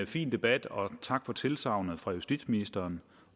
fin debat og tak for tilsagnet fra justitsministeren